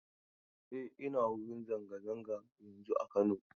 E, ina wurin zanga-zanga yanzun a Kano.